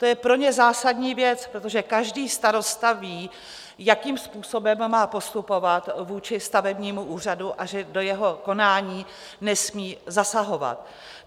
To je pro ně zásadní věc, protože každý starosta ví, jakým způsobem má postupovat vůči stavebnímu úřadu a že do jeho konání nesmí zasahovat.